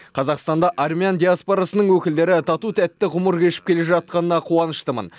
қазақстанда армян диаспорасының өкілдері тату тәтті ғұмыр кешіп келе жатқанына қуаныштымын